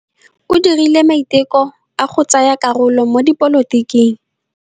O dirile maitekô a go tsaya karolo mo dipolotiking.